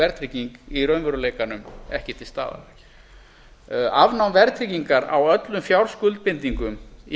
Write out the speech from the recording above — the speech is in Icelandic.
verðtrygging í raunveruleikanum ekki til staðar afnám verðtryggingar á öllum fjárskuldbindingum í